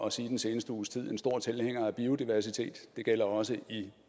at sige den seneste uges tid en stor tilhænger af biodiversitet det gælder også i